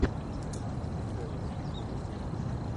офицеры сезон десять